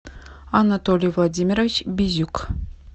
анатолий владимирович бизюк